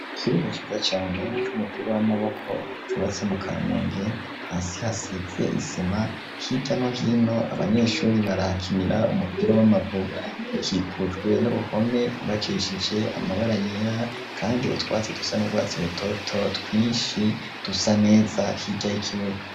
Ikibuga ciza cane c'umupira w'amaboko cubatse mu kamenge hasi hasize isima hirya no hino abanyeshuri barakinira umupira w'amaguru ikikujwe n'uruhome yubakishije amabara yera kandi utwatsi dusa n'ugwatsi rototo twinshi dusa neza hirya har'ikibuga.